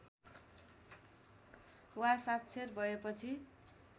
वा साक्षर भएपछि